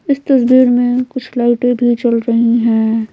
इस तस्वीर में कुछ लाइटें भी चल रही हैं।